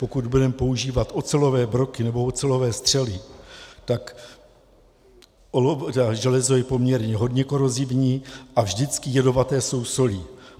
Pokud budeme používat ocelové broky nebo ocelové střely, tak železo je poměrně hodně korozivní a vždycky jedovaté jsou soli.